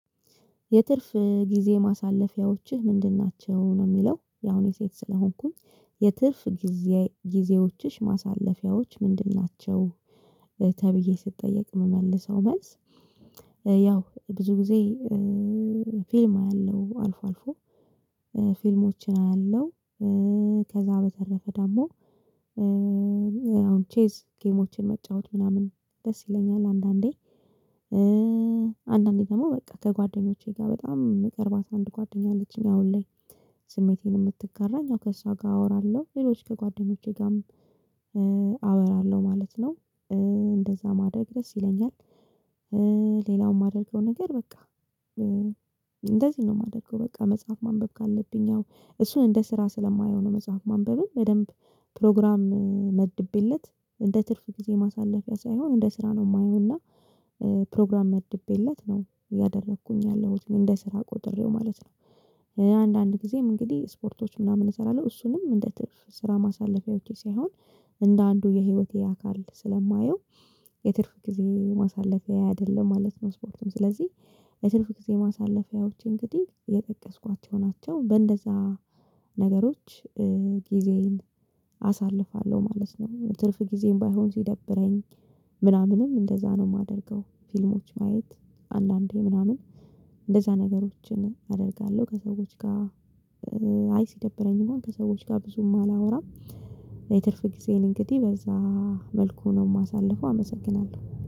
የትርፍ ጊዜ ማሳለፊያዎችህ ምንድን ናቸው ነው የሚለው ያው እኔ ሴት ስለሆንኩኝ የትርፍ ጊዜ ጊዜዎችሽ ማሳለፊያዎች ምንድን ናቸው? ተብዬ ስትጠየቅ የምመልሰው መልስ። ያው ብዙ ጊዜ ፊልም አያለው አልፎ አልፎ ፊልሞችን አያለው። ከዛ በተረፈ ደግሞ አሁን ቼዝ ጌሞችን መጫወት ምናምን ደስ ይለኛል። አንዳንዴ አንዳንዴ ደግሞ በቃ ከጓደኞቼ ጋር በጣም ምቅርባት አንድ ጓደኛ አለችኝ አሁን ላይ። ስሜቴን የምትጋራኝ ከእሷ ጋር አወራለሁ ሌሎች ከጓደኞቼ ጋርም አወራለሁ ማለት ነው። እንደዛ ማደግ ድረስ ይለኛል። ሌላውም የማደርገው ነገር በቃ እንደዚህ ነው የማደርገው በቃ መጽሐፍ ማንበብ ካለብኝ አዎ እሱን እንደ ስራ ስለማየው ነው። መጽሐፍ ማንበብን በደንብ ፕሮግራም መድቤለት እንደ ትርፍ ጊዜ ማሳለፊያ ሳይሆን እንደ ስራ ነው የማየው እና ፕሮግራም መድቤለት ነው ያደረኩኝ ያለሁት እኔ እንደ ስራ ቆጥሬው ማለት ነው። አንዳንድ ጊዜም እንግዲህ ስፖርቶች ምናምን እሰራለሁ እሱንም እንደ ትርፍ ስራ ማሳለፊያ ሳይሆን እንደ አንዱ የህይወቴ አካል ስለማየው። የትርፍ ጊዜ ማሳለፊያ አይደለም ማለት ነው። ስፖርትም ስለዚህ የትርፍ ጊዜ ማሳለፊያዎቼ እንግዲህ የጠቀስኳቸው ናቸው በእንደዛ ነገሮች ጊዜዬን አሳልፋለሁ ማለት ነው። ትርፍ ጊዜዬን ባይሆን ሲደብረኝ ምናምንም እንደዛ ነው የማደርገው። ፊልሞች ማየት አንዳንዴ ምናምን እንደዛ ነገሮችን አደርጋለሁ ከሰዎች ጋር አይ ሲደብረኝ እንኳን ከሰዎች ጋር ብዙም አላወራም። የትርፍ ጊዜ እንግዲህ በዛ መልኩ ነው የማሳልፈው። አመሰግናለሁ